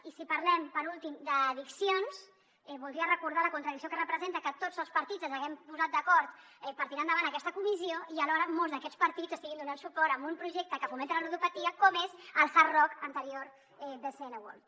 i si parlem per últim d’addiccions voldria recordar la contradicció que representa que tots els partits ens haguem posat d’acord per tirar endavant aquesta comissió i alhora molts d’aquests partits estiguin donant suport a un projecte que fomenta la ludopatia com és el hard rock anterior bcn world